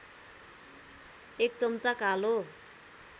१ चम्चा कालो